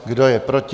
Kdo je proti?